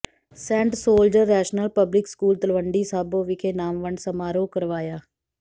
Saint Soldier Rational Public School Talwandi Sabo ਵਿਖੇ ਇਨਾਮ ਵੰਡ ਸਮਾਰੋਹ ਕਰਵਾਇਆ